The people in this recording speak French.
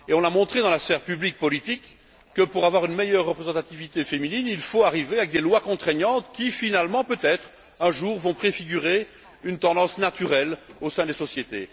On a montré dans la sphère publique politique que, pour avoir une meilleure représentativité féminine, il fallait arriver avec des lois contraignantes qui finalement, peut être, un jour, vont préfigurer une tendance naturelle au sein des sociétés.